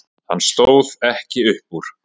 Hann stóð ekki upp úr.